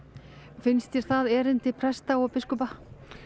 finnst þér það erindi presta og biskupa